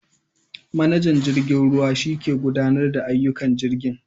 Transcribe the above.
Manajan jirgen ruwa shike gudanarda da ayyukan jirgin.